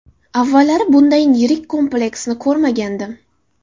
Avvallari bundayin yirik kompleksni ko‘rmagandim.